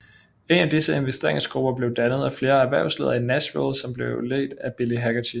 En af disse investeringsgrupper blev dannet af flere erhversledere i Nashville som blev ledt af Bill Hagerty